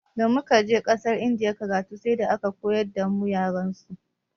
Damu kaje ƙasar indiya karatu sai da aka koyar damu yarensu.